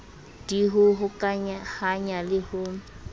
d ho hokahanya le ho